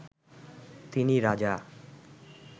তিনি রাজা